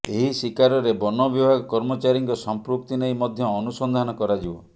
ଏହି ଶିକାରରେ ବନ ବିଭାଗ କର୍ମଚାରୀଙ୍କ ସଂପୃକ୍ତି ନେଇ ମଧ୍ୟ ଅନୁସନ୍ଧାନ କରାଯିବ